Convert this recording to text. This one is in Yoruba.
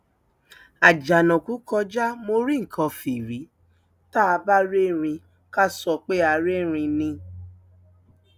àjànàkú kọjá mo rí nǹkan fìrí tá a bá rí erin ká sọ pé a rí ẹrín ni